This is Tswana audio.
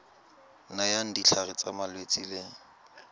nayang ditlhare tsa malwetse le